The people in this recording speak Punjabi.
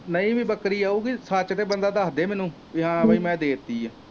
ਨਹੀਂ ਵੀ ਬੱਕਰੀ ਆਉਗੀ ਸੱਚ ਤਾ ਬੰਦਾ ਦਸਦੇ ਮੈਨੂੰ ਬੀ ਹਾਂ ਬੀ ਮੈ ਦੇਤੀ ਆ।